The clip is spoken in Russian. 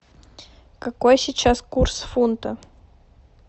какой сейчас курс фунта